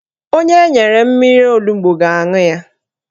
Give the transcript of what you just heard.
Onye enyere mmiri onugbo ga-aṅụ ya